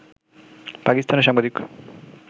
পাকিস্তানের সাংবাদিক